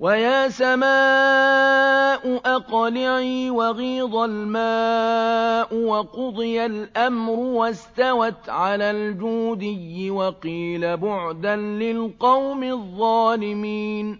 وَيَا سَمَاءُ أَقْلِعِي وَغِيضَ الْمَاءُ وَقُضِيَ الْأَمْرُ وَاسْتَوَتْ عَلَى الْجُودِيِّ ۖ وَقِيلَ بُعْدًا لِّلْقَوْمِ الظَّالِمِينَ